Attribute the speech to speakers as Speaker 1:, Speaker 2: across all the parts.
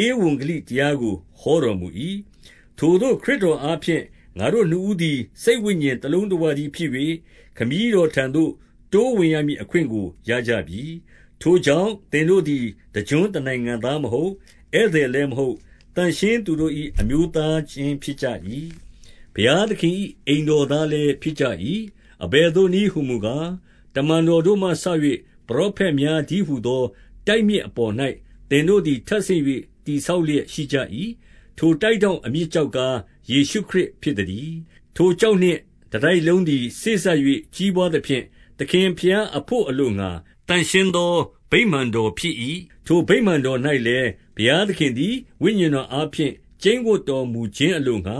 Speaker 1: ဧဝံဂေလိတရားကို ဟောတော်မူ၏။ 18 ထိုသို့ ခရစ်တော်အားဖြင့် ငါတို့နှစ်ဦးသည် စိတ်ဝိညာဉ်တလုံးတဝတည်းဖြစ်၍၊ ခမည်းတော်ထံသို့ တိုးဝင်ရမည်အခွင့်ကို ရကြပြီ။ 19 ထိုကြောင့်၊ သင်တို့သည် တကျွန်းတနိုင်ငံသားမဟုတ်၊ ဧည့်သည်လည်းမဟုတ်၊ သန့်ရှင်းသူတို့၏ အမျိုးသားခြင်း ဖြစ်ကြ၏။ ဘုရားသခင်အိမ်တော်သားလည်း ဖြစ်ကြ၏။ 20 အဘယ်သို့နည်းဟူမူကား၊ တမန်တော်တို့မှစ၍ ပရောဖက်များတည်းဟူသော တိုက်မြစ်အပေါ်၌ သင်တို့သည် ထပ်ဆင့်၍ တည်ဆောက်လျက်ရှိကြ၏။ 21 ထိုတိုက်ထောင့်အမြစ်ကျောက်ကား၊ ယေရှုခရစ်ဖြစ်သတည်း။ ထိုကျောက်နှင့်တတိုက်လုံးသည် စေ့စပ်၍ ကြီးပွားသဖြင့်၊ သခင်ဘုရားအဘို့အလိုငှါ သန့်ရှင်းသော ဗိမာန်တော်ဖြစ်၏။ 22 ထိုဗိမာန်တော်၌လည်း၊ ဘုရားသခင်သည် ဝိညာဉ်တော်အားဖြင့် ကျိန်းဝပ်တော်မူခြင်းအလိုငှါ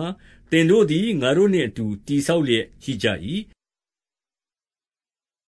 Speaker 1: ၊ သင်တို့သည် ငါတို့နှင့်အတူ တည်ဆောက်လျက်ရှိကြ၏။